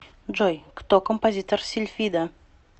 джой кто композитор сильфида